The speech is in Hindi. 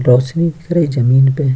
रोशनी दिख रही जमीन पे --